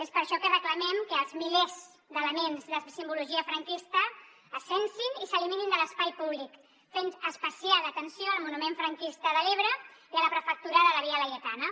és per això que reclamem que els milers d’elements de simbologia franquista es censin i s’eliminin de l’espai públic fent especial atenció al monument franquista de l’ebre i a la prefectura de la via laietana